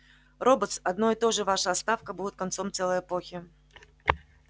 роботс одно и то же ваша отставка будет концом целой эпохи